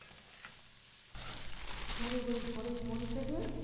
তোমাদের ওই ঘরের কোন থেকে